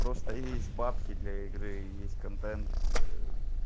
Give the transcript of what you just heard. просто есть бабки для игры есть контакт